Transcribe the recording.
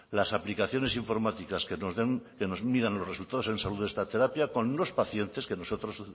las aplicaciones informáticas que nos den que nos midan los resultados en salud de esta terapia con unos pacientes que nosotros